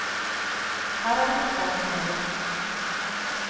Her er det fotball som gjelder.